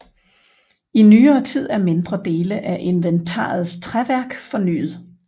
I nyere tid er mindre dele af inventarets træværk fornyet